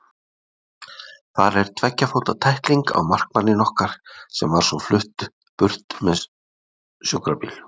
Þar er tveggja fóta tækling á markmanninn okkar sem var svo flutt með sjúkrabíl.